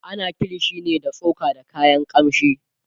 ana kilishi ne da tsoka da kayan kamshi